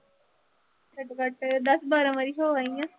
ਘੱਟੋ-ਘੱਟ ਦਸ ਬਾਰਾਂ ਵਾਰੀ ਹੋ ਆਈ ਆਂ।